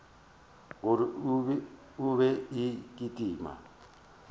gore e be e kitima